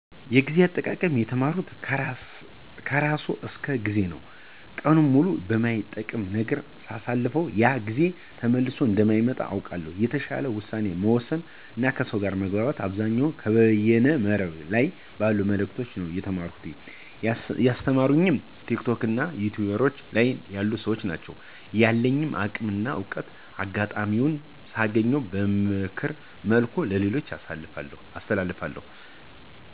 ጊዜ አጠቃቀም የተማርኩት ከራሱ ከ ጊዜ ነው። ቀኑን ሙሉ በማይጠቅም ነገር ሳሳልፍ ያ ጊዜ ተመልሶ እንደማይመጣ አውቀዋለሁ። የተሻለ ውሳኔ መወሰን እና ከሰው ጋር መግባባት አብዛኛውን ከበይነ መረብ ላይ ባሉ መልዕክቶች ነው የተማርኩት። ያስተማሩኝም ቲክቶክ እና ዩቱይብ ላይ ያሉ ሰዎች ናቸው። ያለኝን አቅም እና እውቀት አጋጣሚውን ሳገኝ በምክር መልኩ ለሌሎች አስተላልፋለሁ።